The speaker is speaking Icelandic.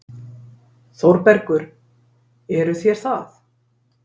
ÞÓRBERGUR: Eruð þér það?